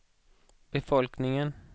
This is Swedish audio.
befolkningen